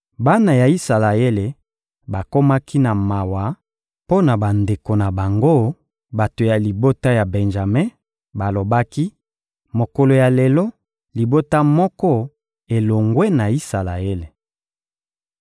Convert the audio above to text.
Bana ya Isalaele bakomaki na mawa mpo na bandeko na bango, bato ya libota ya Benjame; balobaki: «Mokolo ya lelo, libota moko elongwe na Isalaele.